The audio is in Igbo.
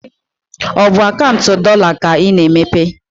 Is it the dollar account you are going to open?